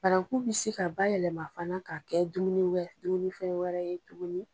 Baranku bi se ka bayɛlɛma fana ka kɛ dumuni dumunifɛn wɛrɛ ye tuguni.